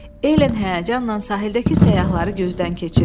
Elen həyəcanla sahildəki səyyahları gözdən keçirdi.